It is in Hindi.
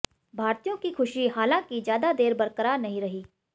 भारतीयों की खुशी हालांकि ज्यादा देर बरकरार नहीं रही